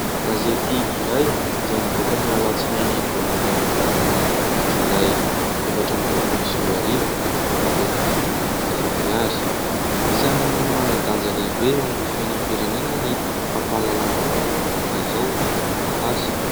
Gazety iray izay nivoaka ny alatsinainy voalohan'ny volana Jolay efatra amby roapolo sy roa arivo amidy amin'ny vidiny arivo ariary isan'ny manan-danja lehibe eo amin'ny fianam-pirenena ny fampahalalambaovao tahak'izao amin'ny taratasy